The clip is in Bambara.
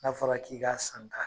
N'a fɔra k'i ka san da